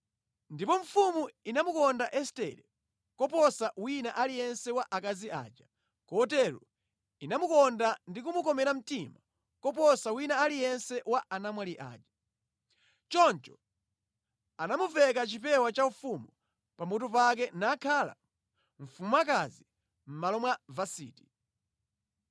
Ndipo mfumu inamukonda Estere koposa wina aliyense wa akazi aja, kotero inamukonda ndi kumukomera mtima koposa wina aliyense wa anamwali aja. Choncho anamumveka chipewa chaufumu pa mutu pake nakhala mfumukazi mʼmalo mwa Vasiti.